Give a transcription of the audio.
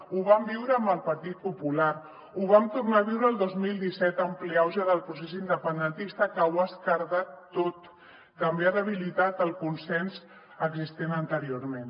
ho vam viure amb el partit popular ho vam tornar a viure el dos mil disset en ple auge del procés independentista que ho ha esquerdat tot també ha debilitat el consens existent anteriorment